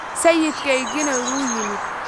Sayidkaygiina wuu yimid